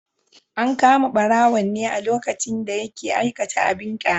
An kama barawon ne a lokacin da yake aikata abin kyama.